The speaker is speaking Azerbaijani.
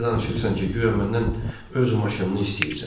Elə danışırsan ki, guya məndən öz maşınını istəyirsən.